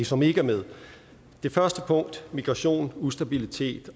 som ikke er med det første punkt migration ustabilitet